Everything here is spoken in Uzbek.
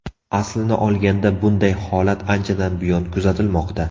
Aslini olganda, bunday holat anchadan buyon kuzatilmoqda.